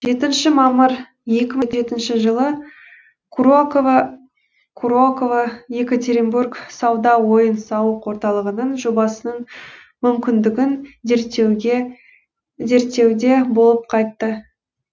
жетінші мамыр екі мың жетінші жылы курокава курокава екатеринбург сауда ойын сауық орталығының жобасының мүмкіндігін зерттеуде болып қайтты